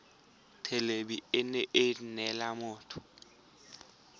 thelebi ene e neela motho